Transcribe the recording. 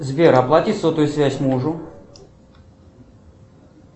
сбер оплати сотовую связь мужу